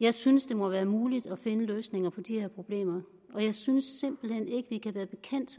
jeg synes det må være muligt at finde løsninger på de her problemer og jeg synes simpelt hen ikke vi kan være bekendt